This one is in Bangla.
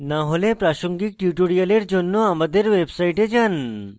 না হলে প্রাসঙ্গিক tutorials জন্য আমাদের website যান